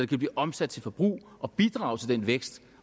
kan blive omsat til forbrug og bidrage til den vækst